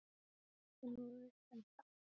Ertu nú viss um það?